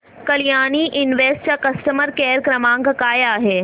Kalyani invest चा customer care क्रमांक काय आहे